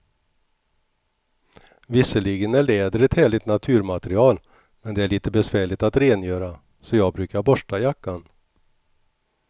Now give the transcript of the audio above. Visserligen är läder ett härligt naturmaterial, men det är lite besvärligt att rengöra, så jag brukar borsta jackan.